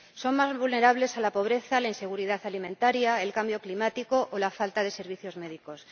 Son más vulnerables a la pobreza, a la inseguridad alimentaria, al cambio climático o a la falta de servicios médicos.